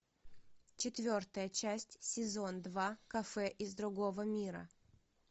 четвертая часть сезон два кафе из другого мира